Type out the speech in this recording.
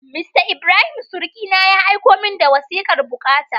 Mista Ibrahim surukina, ya aiko min da wasikar bukata.